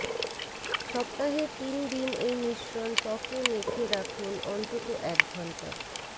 সপ্তাহে তিন দিন এই মিশ্রণ ত্বকে মেখে রাখুন অন্তত এক ঘণ্টা